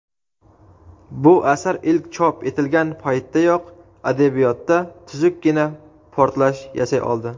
Bu asar ilk chop etilgan paytdayoq adabiyotda tuzukkina portlash yasay oldi.